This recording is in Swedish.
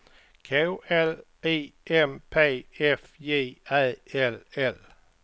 K L I M P F J Ä L L